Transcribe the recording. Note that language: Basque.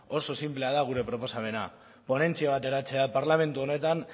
oso sinplea da gure proposamena ponentzia bat eratzea parlamentu honetan